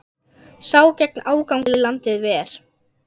Sá gegn ágangi landið ver.